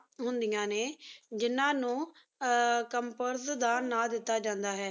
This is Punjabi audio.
ਹੁੰਦੇਆਯਨ ਨੀ ਜਿਨਾ ਨੂ ਆ purse ਦਾ ਨਾਮ ਦੇਤਾ ਜੰਦਾ ਆਯ